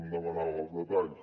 em demanava els detalls